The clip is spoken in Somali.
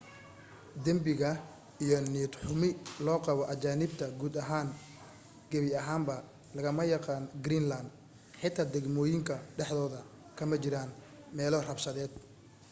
dembiga iyo niyad-xumi loo qabo ajaanibta guud ahaan gebi ahaanba lagama yaqaan greenland xitaa degmooyinka dhexdooda kama jiraan meelo rabshadeed